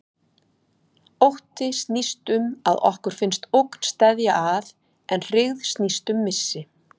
Ótti snýst um að okkur finnst ógn steðja að, en hryggð snýst um missi.